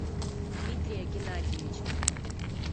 дмитрия геннадьевича